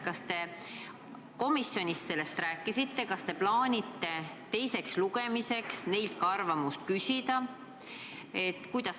Kas te komisjonis sellest rääkisite ja kas te plaanite teiseks lugemiseks neilt ka arvamust küsida?